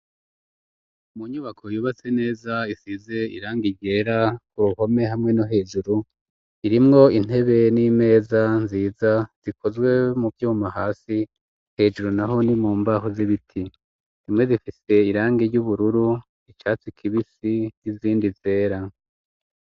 mu nyubako yubatse neza isize irangi ryera ku ruhome hamwe no hejuru irimwo intebe n'imeza nziza zikozwe mu byuma hasi hejuru nahoni mu mbaho z'ibiti zimwe zifise irangi ry'ubururu icatsi kibisi n'izindi zera.